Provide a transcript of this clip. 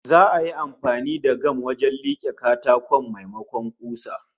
Za'a yi amfani da gam wajen like katakon, maimakon kusa